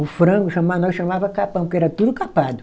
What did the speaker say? O frango chamava, nós chamava capão, porque era tudo capado.